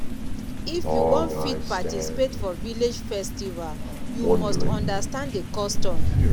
if you wan fit participate for village festival you must understand the custom.